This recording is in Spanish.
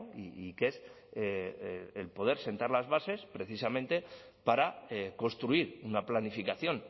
y que es el poder sentar las bases precisamente para construir una planificación